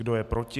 Kdo je proti?